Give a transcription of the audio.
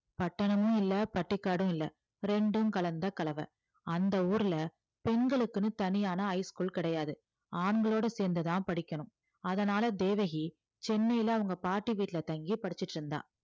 பட்டணமும் இல்லை பட்டிக்காடும் இல்லை இரண்டும் கலந்த கலவை. அந்த ஊர்ல பெண்களுக்குன்னு தனியான high school கிடையாது. ஆண்களோட சேர்ந்துதான் படிக்கணும் அதனால தேவகி சென்னையில அவங்க பாட்டி வீட்டுல தங்கி படிச்சுட்டு இருந்தா